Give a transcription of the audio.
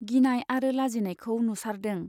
गिनाय आरो लाजिनायखौ नुसारदों।